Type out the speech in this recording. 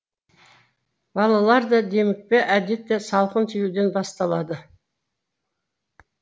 балаларда демікпе әдетте салқын тиюден басталады